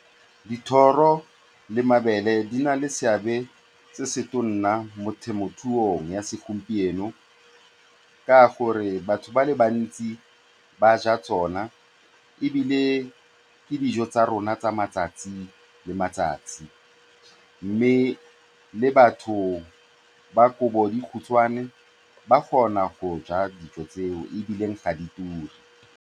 Dithoro le mabele di na le seabe se se tona mo temothuong ya segompieno ka gore batho ba le bantsi ba ja tsona ebile ke dijo tsa rona tsa matsatsi le matsatsi, mme le batho ba ba kobodikhutshwane ba kgona go ja dijo tseo ebile ga di ture.